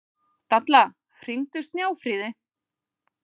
Dalla, hringdu í Snjáfríði.